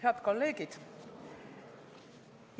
Head kolleegid!